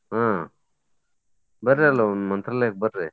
ಹಾ ಬರ್ರಿ ಅಲ್ಲ ಒಮ್ಮೆ ಮಂತ್ರಾಲಯಕ್ಕ್ ಬರ್ರಿ.